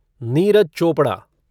Neeraj Chopra